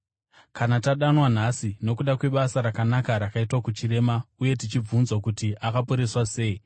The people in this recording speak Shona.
kana tadanwa nhasi nokuda kwebasa rakanaka rakaitwa kuchirema uye tichibvunzwa kuti akaporeswa sei,